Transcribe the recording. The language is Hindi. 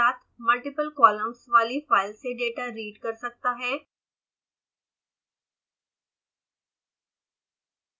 loadtxt कमांड सिंगल कॉलम्स साथ ही साथ मल्टिपल कॉलम्स वाली फाइल्स से डेटा रीड कर सकता है